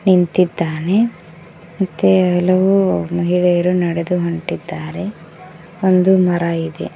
ನಿಂತಿದ್ದಾನೆ ಮತ್ತೆ ಹಲವು ಮಹಿಳೆಯರು ನಡೆದು ಹೊಂಟಿದ್ದಾರೆ ಒಂದು ಮರ ಇದೆ.